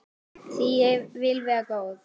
Því ég vil vera góð.